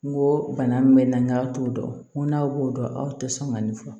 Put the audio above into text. N ko bana min bɛ n na n k'aw t'o dɔn n ko n'aw b'o dɔn aw tɛ sɔn ka nin fɔ